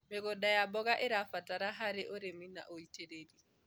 mĩgũnda ya mboga irabatara harĩ ũrĩmi na ũitiriri